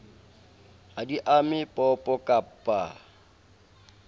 ha di ame popo kappa